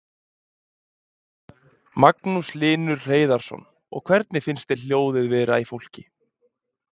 Magnús Hlynur Hreiðarsson: Og hvernig finnst þér hljóðið vera í fólki?